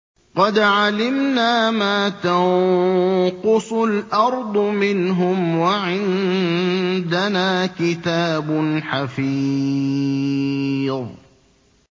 قَدْ عَلِمْنَا مَا تَنقُصُ الْأَرْضُ مِنْهُمْ ۖ وَعِندَنَا كِتَابٌ حَفِيظٌ